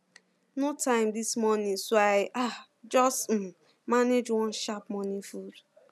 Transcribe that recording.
no time this morning so i um just um manage one sharp morning food